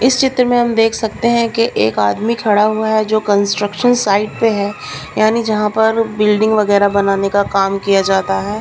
इस चित्र में हम देख सकते हैं कि एक आदमी खड़ा हुआ है जो कंस्ट्रक्शन साइट पे है यानी जहां पर बिल्डिंग वगैरह बनाने का काम किया जाता है।